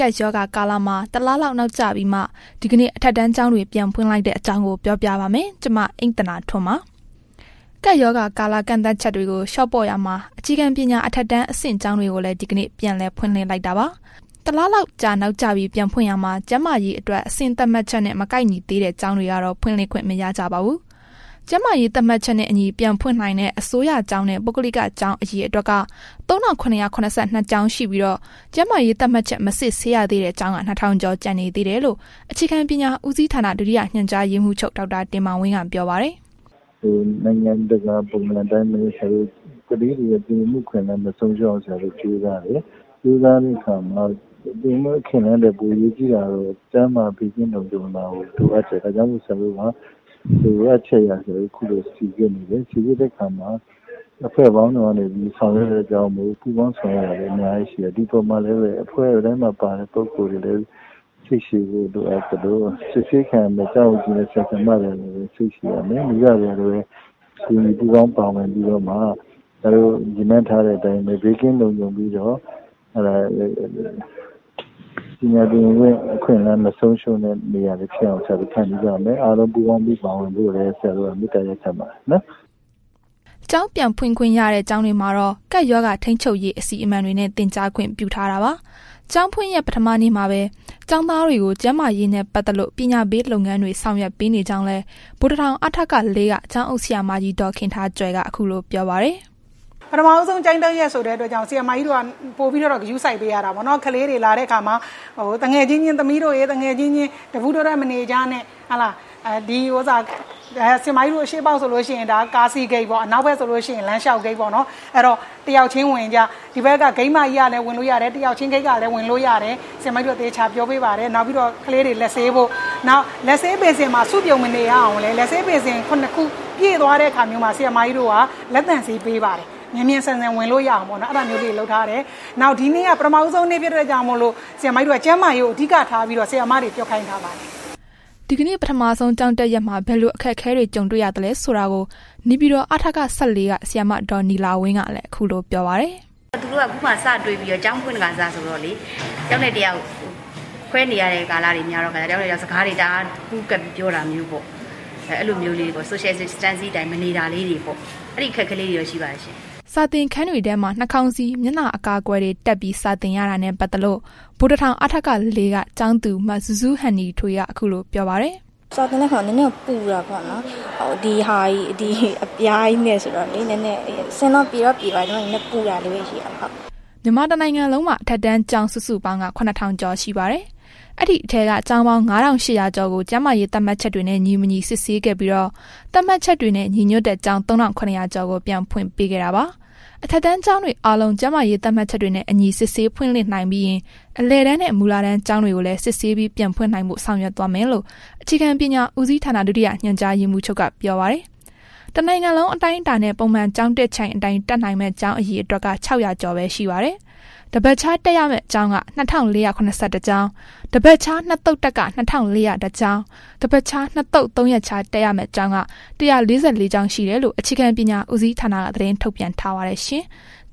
ကပ်ရောဂါကာလမှာ တလလောက် နောက်ကျပြီးမှ ဒီကနေ့ အထက်တန်းကျောင်းတွေ ပြန်ဖွင့်လိုက်တဲ့အကြောင်းကို ဗွီအိုအေ မြန်မာပိုင်းသတင်းထောက် မအိမ့်သန္တာထွန်းက ပြောပြပါမယ်။ ကပ်ရောဂါကာလ ကန့်သတ်ချက်တွေကို လျှော့ပေါ့နေရာမှာ အခြေခံပညာ အထက်တန်းအဆင့် ကျောင်းတွေကိုလည်း ဒီကနေ့ ပြန်လည် ဖွင့်လှစ်လိုက်တာပါ။ တလလောက်ကြာ နောက်ကျပြီး ပြန်ဖွင့်ရာမှာ ကျန်းမာရေးအတွက် အဆင့်သတ်မှတ်ချက်နဲ့ မကိုက်ညီသေးတဲ့ ကျောင်းတွေကတော့ ဖွင့်လှစ်ခွင့်မရကြပါဘူး။ ကျန်းမာရေး သတ်မှတ်ချက်နဲ့အညီ ပြန်ဖွင့်နိုင်တဲ့ အစိုးရကျောင်းနဲ့ ပုဂ္ဂလိကကျောင်း အရေအတွက်က ၃,၇၇၂ ကျောင်းရှိပြီးတော့ ကျန်းမာရေးသတ်မှတ်ချက် မစစ်ဆေးရသေးတဲ့ ကျောင်းက ၂,၀၀၀ ကျော်ကျန်နေသေးတယ်လို့ အခြေခံပညာဦးစီဌာန ဒုတိယ ညွှန်ကြားရေးမှုးချုပ် ဒေါက်တာတင်မောင်ဝင်းက ပြောပါတယ်။ “နိုင်ငံတကာပုံစံအတိုင်းပဲ ဆရာတို့ ကလေးတွေရဲ့ သင်ယူမှုအခွင့်အလမ်း မဆုံးရှုံးအောင် ဆရာတို့ကြိုးစားတယ်။ ကြိုးစားတဲ့အခါမှာ သင်ယူမှု အခွင့်အလမ်းထက် အရေးကြီးတာကတော့ ကျန်းမာရေးနဲ့ ဘေးကင်းလုံခြုံတာကို လိုအပ်တယ်၊ ဒါကြောင့်မို့လို့လည်း ဆရာတို့မှာ လိုအပ်ချက်အရ စိစစ်တယ်။ စိစစ်တဲ့အခါမှာ အဖွဲ့ပေါင်း စုံကနေပြီး ဆောင်ရွက်တဲ့ အတွက်ကြောင့်မို့လို့ ပူးပေါင်းဆောင်ရွက်တာတွေအများကြီးရှိတယ်။ ဒီအပေါ်မှာ လည်းပဲ အဖွဲတိုင်းမှာပါတဲ့ ပုဂ္ဂိုလ်တွေကလည်းပဲ စိတ်ရှည်ဖို့ လိုအပ်သလို စစ်ဆေးခံရမယ့် ကျောင်းအုပ်ကြီးနဲ့ ဆရာဆရာမတွေကလည်းပဲ စိတ်ရှည်ရမယ်။ မိဘတွေကလည်းပဲ ပါဝင်ပူးပေါင်းပြီးတော့မှ ဆရာတို့ရည်မှန်းထားတဲ့အတိုင်းပဲ ဘေးကင်းလုံခြုံပြီးတော့ ပညာသင်ယူမှု အခွင့်အလမ်းမဆုံးရှုံးတဲ့ နေရာဖြစ်အောင် ဆရာတို့ ဖန်တီးရမယ်။ အားလုံးပူးပေါင်းပါဝင်ဖို့လည်း ဆရာတို့ မေတ္တာရပ်ခံပါတယ်။” ကျောင်းပြန်ဖွင့်ခွင့်ရတဲ့ ကျောင်းတွေမှာတော့ ကပ်ရောဂါထိန်းချုပ်ရေး အစီအမံတွေနဲ့ သင်ကြားခွင့်ပြုထားတာပါ။ ကျောင်းဖွင့်ရက် ပထမနေ့မှာပဲ ကျောင်းသားတွေကို ကျန်းမာရေးနဲ့ ပတ်သက်လို့ ပညာပေးလုပ်ငန်းတွေ ဆောင်ရွက်ပေးနေကြောင်းလည်း ဗိုလ်တထောင် အထက ၄ က ကျောင်းအုပ်ဆရာမကြီး ဒေါ်ခင်ထားကြွယ်က ခုလို ပြောပါတယ်။ “ပထမဦးဆုံးကျောင်းတက်ရက်ဆိုတဲ့အတွက်ကြောင့် ဆရာမကြီးတို့က ပိုပြီးတော့ ဂရုစိုက်ပေးရတာပေါ့နော်။ ကလေးတွေလာတဲ့အခါမှာ သမီးတို့ရယ် သူငယ်ချင်းအချင်းချင်း တပူးတွဲတွဲ မနေကြနဲ့၊ ဆရာမကြီးတို့ ဒီ အရှေ့ပေါက်ဆိုလို့ရှိရင် ကားစီးဂိတ် အနောက်ပေါက်ဆိုလို့ရှိရင် လမ်းလျှောက်ဂိတ်ပေါ့။ အဲ့တော့ တစ်ယောက်ချင်းဝင်ကြ ဂိတ်မကြီးကလည်းဝင်လို့ရတယ် နောက်ဘက်ဂိတ်ကလည်း ဝင်လို့ရတယ်၊ ဆရာမကြီးတို့ သေချာပြောပေးပါတယ်၊ နောက်ပြီးတော့ကလေးတွေ လက်ဆေးဖို့၊ လက်ဆေးဘေစင်မှာ စုပြုံမနေဖို့ လက်ဆေးဘေစင် ၇ ခုမှာ ပြည့်သွားတဲ့အခါ လက်သန့်ဆေး ပေးပါတယ်။ မြန်မြန်ဆန်ဆန်ဝင်လို့ရအောင်ပေါ့နော်၊ အဲ့ဒါမျိုးလေးတွေလုပ်ထားတယ်။ နောက်ဒီနေ့က ပထမဦးဆုံးနေ့ ဖြစ်တဲ့အတွက်ကြောင့်မို့လို့ ကျန်းမာရေးကို အဓိကထားပြီးတော့ ဆရာမတွေကို ပြောခိုင်းထားပါတယ်။” ဒီကနေ့ ပထမဆုံးကျောင်းတက်ရက်မှာ ဘယ်လို အခက်အခဲတွေ ကြုံတွေ့ရသလဲဆိုတာကိုလည်း နေပြည်တော် အထက ၁၄ က ဆရာမ ဒေါ်နီလာဝင်းကလည်း ခုလိုပြောပြပါတယ်။ “သူတို့က ခုမှာ စတွေ့ခါစ ကျောင်းဖွင့်ခါစဆိုတော့လေ၊ တစ်ယောက်နဲ့ တစ်ယောက်ခွဲနေရတဲ့ ကာလက များတဲ့ခါကျတော့ တစ်ယောက်နဲ့တစ်ယောက်ပူးကပ်ပြီး စကားတွေအများကြီးပြောတာမျိုးပေါ့။ အဲ့ဒါမျိုးလေးတွေပေါ့၊ Social Distancing အတိုင်းမနေတာလေးတွေပေါ့၊ အဲ့ဒီအခက်အခဲလေးတွေတော့ ရှိပါတယ်ရှင့်။” စာသင်ခန်းတွေထဲမှာ နှာခေါင်းစည်း၊ မျက်နှာအကာအကွယ်တွေ တပ်ထားပြီး စာသင်ရတာနဲ့ ပတ်သက်လို့ ဗိုလ်တထောင် အထက ၄ က ကျောင်းသူ မဇူးဇူးဟန်နီထွေးက ခုလိုပြောပါတယ်။ “စာသင်တဲ့အခါ နည်းနည်းတော့ ပူတာပေါ့နော်၊ ဒီအပြားကြီးနဲ့ဆိုတော့ နည်းနည်း၊ အဆင်တော့ ပြေတော့ပြေပါတယ်၊ နည်းနည်းပူတာလေးပဲ ရှိတာပါ။” မြန်မာတစ်နိုင်ငံလုံးမှာ အထက်တန်းကျောင်း စုစုပေါင်းက ၇,၀၀၀ ကျော်ရှိပါတယ်။ အဲ့ဒီထဲက ကျောင်းပေါင်း ၅,၈၀၀ ကျော်ကို ကျန်းမာရေးသတ်မှတ်ချက်တွေနဲ့ ညီမညီစစ်ဆေးခဲ့ပြီးတော့ သတ်မှတ်ချက်တွေနဲ့ ညီညွှတ်တဲ့ ကျောင်း ၃,၇၀၀ ကျော်ကို ပြန်ဖွင့်ခွင့်ပေးခဲ့တာပါ။ အထက်တန်းကျောင်းတွေအားလုံး ကျန်းမာရေးသတ်မှတ်ချက်တွေနဲ့အညီ စစ်ဆေးဖွင့်လှစ်နိုင်ပြီးရင် အလယ်တန်းနှင့် မူလတန်းကျောင်းတွေကိုလည်း စစ်ဆေးပြီး ပြန်ဖွင်နိုင်ဖို့ ဆောင်ရွက်သွားမယ်လို့ အခြေခံပညာဦးစီးဌာန ဒုတိယညွှန်ကြားရေးမှူးက ပြောပါတယ်။ တစ်နိုင်ငံလုံးအတိုင်းအတာနဲ့ ပုံမှန်ကျောင်းတက်ချိန်အတိုင်းတက်နိုင်မယ့် ကျောင်းအရအေတွက်က ၆၀၀ ကျော်ပဲရှိပါတယ်။ တစ်ပတ်ခြားတက်ရမယ့် ကျောင်းက ၂,၄၇၁ ကျောင်း၊ တစ်ပတ်ခြား နှစ်သုတ်တက်က ၂,၄၀၁ ကျောင်း တစ်ပတ်ခြားနှစ်သုတ် ၃ရက်ခြား တက်ရမယ့် ကျောင်းက ၁၄၄ ကျောင်းရှိတယ်လို့ အခြေခံပညာဦးစီးဌာနက သတင်းထုတ်ပြန်ထားပါတယ်ရှင်။